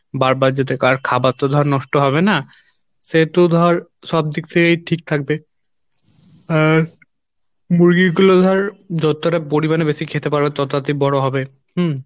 বারবার যাতে আর খাবার তো ধর নষ্ট হবে না সেহেতু ধর সব দিক থেকেই ঠিক থাকবে আর মুরগিগুলো ধর যতটা পরিমাণে বেশি খেতে পারবে তত তারাতারি বড়ো হবে হম